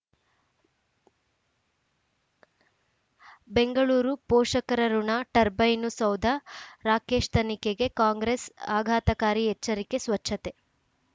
ಬೆಂಗಳೂರು ಪೋಷಕರಋಣ ಟರ್ಬೈನು ಸೌಧ ರಾಕೇಶ್ ತನಿಖೆಗೆ ಕಾಂಗ್ರೆಸ್ ಆಘಾತಕಾರಿ ಎಚ್ಚರಿಕೆ ಸ್ವಚ್ಛತೆ